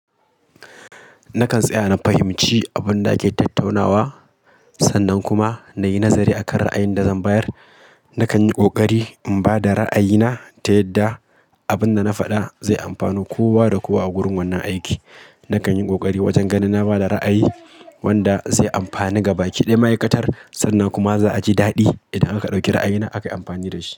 Nakan tsaya na fahimci abun da ake tattaunawa, sannan kuma na yi nazari akan ra'ayin da zan bayar. Nakan yi ƙoƙari in ba da ra'ayina ta yadda abin da na faɗa zai amfanar kowa da kowa a gurin wannan aiki. Nakan yi ƙoƙari wajen ganin na ba da ra'ayi wanda zai amfani gabaki ɗaya ma'aikatar, sannan kuma za a ji daɗi idan aka ɗauki ra'ayina aka yi amfani da shi.